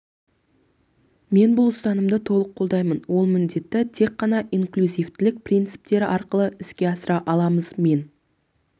мен бұл ұстанымды толық қолдаймын ол міндетті тек қана инклюзивтілік принциптері арқылы іске асыра аламыз мен